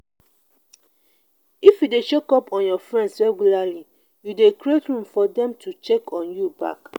if you de check up on your friends regularly you de create room for dem to check on you back